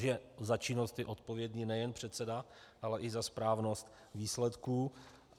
Že za činnost je odpovědný nejen předseda, ale i za správnost výsledků.